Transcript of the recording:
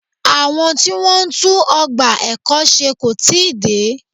Àwọn tí Wọ́n ń tún ọgbà ẹ̀kọ́ ṣe kò tíì dé.